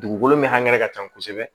Dugukolo min hakɛ ka ca kosɛbɛ